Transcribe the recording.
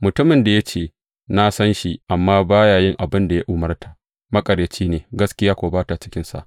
Mutumin da ya ce, Na san shi, amma ba ya yin abin da ya umarta, maƙaryaci ne, gaskiya kuwa ba ta cikinsa.